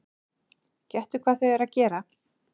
Gettu hvað þau eru að gera?